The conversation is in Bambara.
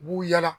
U b'u yala